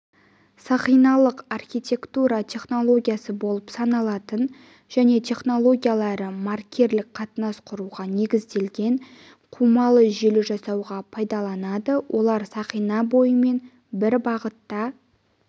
сақиналық архитектура технологиясы болып саналатын және технологиялары маркерлік қатынас құруға негізделген қумалы желі жасауға пайдаланылады олар сақина бойымен бір бағытта